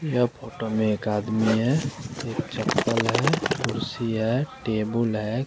यह फोटो में एक आदमी है एक चप्पल है कुर्सी है टेबल है।